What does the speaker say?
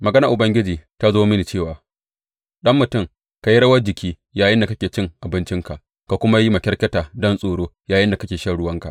Maganar Ubangiji ta zo mini cewa, Ɗan mutum, ka yi rawar jiki yayinda kake cin abincinka, ka kuma yi makyarkyata don tsoro yayinda kake shan ruwanka.